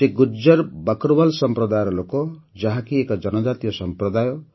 ସେ ଗୁଜ୍ଜର ବକରୱାଲ୍ ସମ୍ପ୍ରଦାୟ ଲୋକ ଯାହାକି ଏକ ଜନଜାତୀୟ ସମ୍ପ୍ରଦାୟ